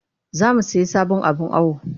Za mu sayi sabon abin awo